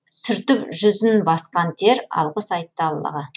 сүртіп жүзін басқан тер алғыс айтты аллаға